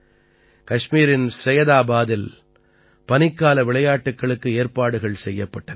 கஷ்மீரின் சையதாபாதில் பனிக்கால விளையாட்டுக்களுக்கு ஏற்பாடுகள் செய்யப்பட்டன